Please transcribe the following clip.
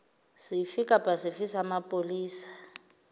sefe kapa sefe sa mapolesa